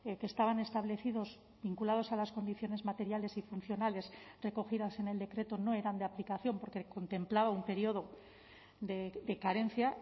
que estaban establecidos vinculados a las condiciones materiales y funcionales recogidas en el decreto no eran de aplicación porque contemplaba un periodo de carencia